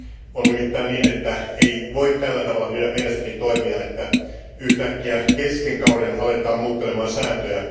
On nimittäin niin, että ei voi tällä tavalla mielestäni toimia, että yhtäkkiä kesken kauden ruvetaan muuttelemaan sääntöjä.